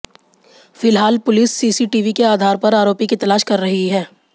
फिलहाल पुलिस सीसीटीवी के आधार पर आरोपी की तलाश कर ही है